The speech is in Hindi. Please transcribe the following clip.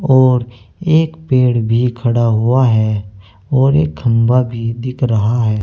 और एक पेड़ भी खड़ा हुआ है और एक खंभा भी दिख रहा है।